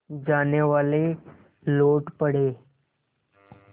जानेवाले लौट पड़े